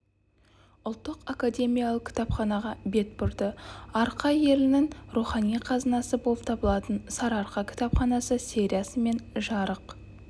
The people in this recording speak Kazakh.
ұлттық академиялық кітапханаға бет бұрды арқа елінің рухани қазынасы болып табылатын сарыарқа кітапханасы сериясымен жарық